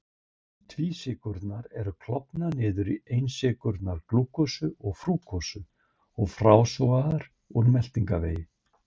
Tvísykrurnar eru klofnar niður í einsykrurnar glúkósa og frúktósa og frásogaðar úr meltingarvegi.